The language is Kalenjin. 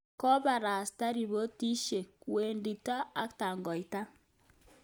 Komostap ripotishek, Wendito, ak tangoita